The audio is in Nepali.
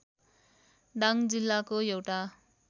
दाङ जिल्लाको एउटा